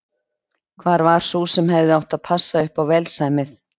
Hvar var sú sem hefði átt að passa upp á velsæmið?